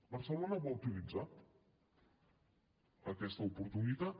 barcelona l’ha utilitzat aquesta oportunitat